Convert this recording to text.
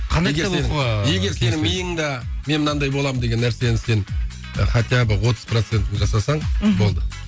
қандай кітап оқуға егер егер сенің миыңда мен мынандай боламын деген нәрсенің сен хотя бы отыз процентін жасасаң мхм болды